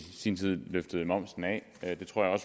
sin tid løftede momsen af det tror jeg